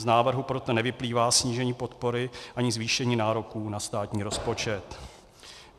Z návrhu proto nevyplývá snížení podpory ani zvýšení nároků na státních rozpočet.